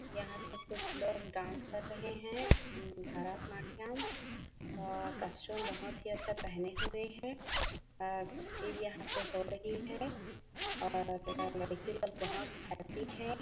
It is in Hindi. यहाँ पे कुछ लोग डांस कर रहे है अम भारत नाटयम और कॉस्टयूम बहुत ही अच्छा पहने हुए है और कुछ चीज यहाँ पे हो रही है और लड़की लोग बहोत हैप्पी है।